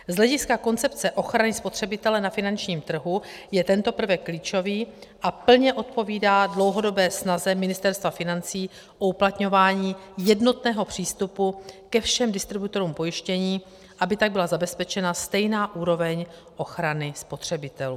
Z hlediska koncepce ochrany spotřebitele na finančním trhu je tento prvek klíčový a plně odpovídá dlouhodobé snaze Ministerstva financí o uplatňování jednotného přístupu ke všem distributorům pojištění, aby tak byla zabezpečena stejná úroveň ochrany spotřebitelů.